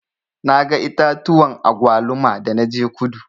Na ga itatuwan agwaluma da na je kudu.